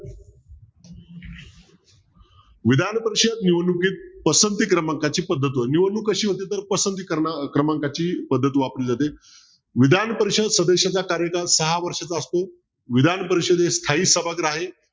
विधान परिषद निवडणुकीत पसंती क्रमांकाची पद्धत होती निवडणूक कशी होती तर पसंती क्रमांकाची पद्धत वापरली जाते विधान परिषद सदस्येचा कार्यकाळ सहा वर्षाचा असतो. विधान परिषदेस स्थायी सभागृह आहे.